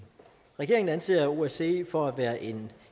regeringen anser osce for at være en